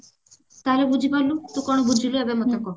ଏଥର ବୁଝି ପାରିଲୁ ତୁ କଣ ବୁଝିଲୁ ଏବେ ମତେ କହ